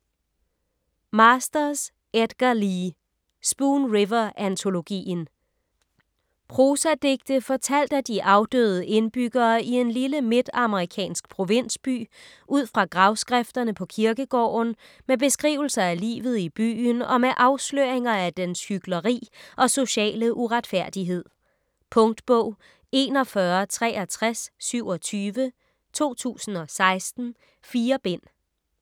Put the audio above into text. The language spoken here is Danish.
Masters, Edgar Lee: Spoon River antologien Prosadigte fortalt af de afdøde indbyggere i en lille midtamerikansk provinsby udfra gravskrifterne på kirkegården, med beskrivelser af livet i byen og med afsløringer af dens hykleri og sociale uretfærdighed. Punktbog 416327 2016. 4 bind.